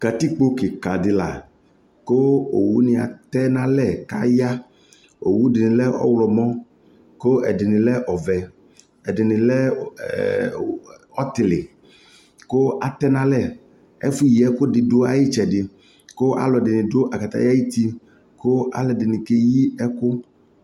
katikpɔ kikaa dila kʋɔwʋ ni atɛ nʋ alɛ kʋ aya, ɔwʋ dinilɛ ɔwlɔmɔ kʋ ɛdini lɛ ɔvɛ, ɛdini lɛ ɔtili kʋ atɛnʋ alɛ, ɛƒʋ yi ɛkʋ dʋ ayi ɛtsɛdɛ kʋ alʋɛdini dʋ akataya ayiti kʋ alʋɛdini kɛyi ɛkʋ